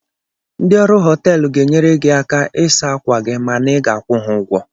Ndị ọrụ họteelụ ga-enyere gị aka ịsa ákwà gị mana ị ga-akwụ ha ụgwọ